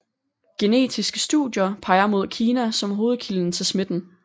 Genetiske studier peger mod Kina som hovedkilden til smitten